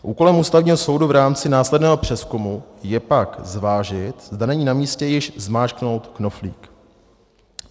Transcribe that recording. Úkolem Ústavního soudu v rámci následného přezkumu je pak zvážit, zda není namístě již zmáčknout knoflík.